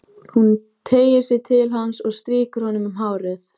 Árgeir, hvað er í dagatalinu í dag?